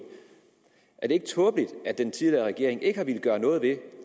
er det ikke tåbeligt at den tidligere regering ikke har villet gøre noget ved